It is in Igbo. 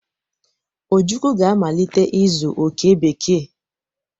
Ojukwu ga-amalite ịzụ oke bekee.